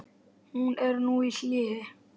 Hún er nú í hléi.